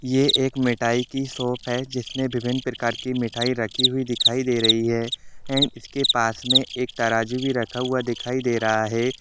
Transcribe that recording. ये एक मिठाई की शॉप है जिसमें विभीन्न प्रकार की मिठाई रखी हुई दिखाई दे रही है एंड इसके पास में एक तराजू भी रखा हुआ दिखाई दे रहा हैं।